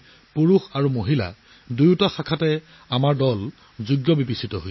পুৰুষ আৰু মহিলা উভয় দলে টেবুল টেনিছত যোগ্যতা অৰ্জন কৰিছে